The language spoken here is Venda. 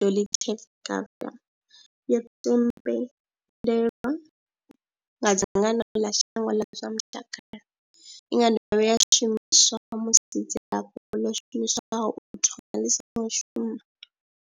dolutegravir, yo themendelwa nga dzangano ḽa shango ḽa zwa mutakalo. I nga dovha ya shumiswa musi dzilafho ḽo shumiswaho u thomani ḽi songo shuma.